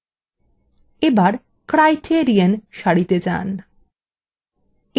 এবার criterion সারিতে যান